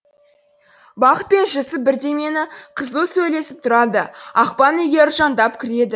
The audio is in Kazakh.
бақыт пен жүсіп бірдемені қызу сөйлесіп тұрады ақбан үйге ыржаңдап кіреді